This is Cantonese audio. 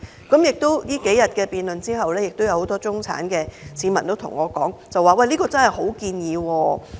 經過數輪辯論後，這幾天有很多中產市民向我反映，這是個好建議。